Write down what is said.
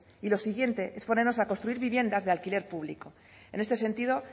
y lo siguientes es ponernos a construir viviendas de alquiler público en este sentido